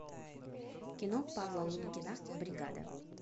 кино павла лунгина бригада